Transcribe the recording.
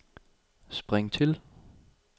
spring til